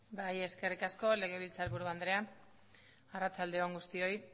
bai eskerrik asko legebiltzarburu andrea arratsalde on guztioi